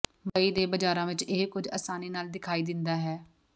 ਮੁੰਬਈ ਦੇ ਬਾਜ਼ਾਰਾਂ ਵਿਚ ਇਹ ਕੁਝ ਅਸਾਨੀ ਨਾਲ ਦਿਖਾਈ ਦਿੰਦਾ ਹੈ